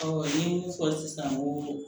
n ye mun fɔ sisan ko